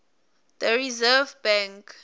the reserve bank